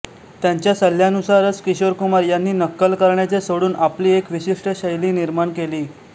त्यांच्या सल्ल्यानुसारच किशोर कुमार यांनी नक्कल करण्याचे सोडून आपली एक विशिष्ट शैली निर्माण केली